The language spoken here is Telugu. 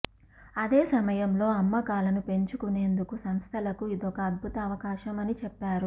అదే సమయంలో అమ్మకాలను పెంచుకునేందుకు సంస్థలకు ఇదొక అద్భుత అవకాశం అని చెప్పారు